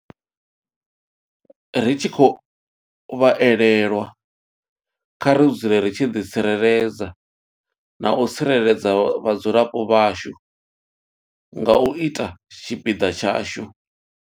Ri tshi khou vha elelwa, kha ri dzule ri tshi ḓi tsireledza na u tsireledza vhadzulapo vhashu nga u ita tshipiḓa tshashu.